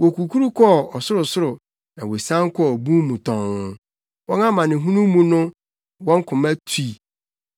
Wokukuru kɔɔ ɔsorosoro na wosian kɔɔ bun mu tɔnn; wɔn amanehunu mu no wɔn koma tui.